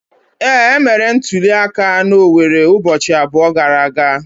Ee, e mere ntuli aka na Owerre ụbọchị abụọ gara aga.